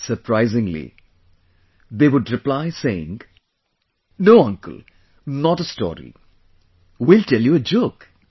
surprisingly, they would reply saying, No Uncle...not a story...We'll tell you a joke